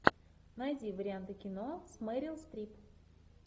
найди варианты кино с мерил стрип